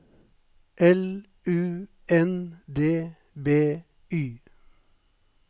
L U N D B Y